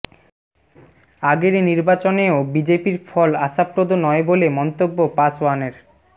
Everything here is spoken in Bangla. আগের নির্বাচনেও বিজেপির ফল আশাপ্রদ নয় বলে মন্তব্য পাসওয়ানের